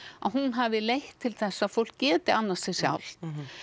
að hún hafi leitt til þess að fólk geti annast sig sjálft